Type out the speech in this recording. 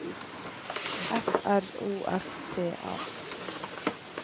F R O S T A